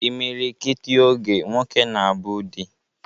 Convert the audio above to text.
Imilikiti oge, nwoke na-abụ di